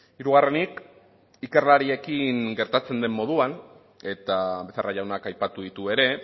hirugarrenik ikerlariekin gertatzen den moduan eta becerra jaunak aipatu ditu ere